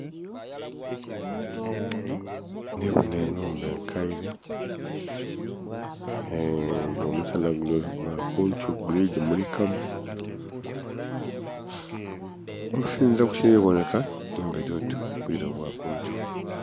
Ndhibona enhumba ekaile nga omusanha kili oti gwa kunkyo guli gimulikamu, okusinzila ku kili bonheka nhumba elyoti bwire bwa kunkyo.